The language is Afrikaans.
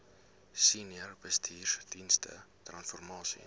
senior bestuursdienste transformasie